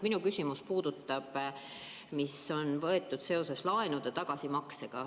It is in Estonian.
Minu küsimus puudutab seda, mis on mõeldud seoses laenude tagasimaksega.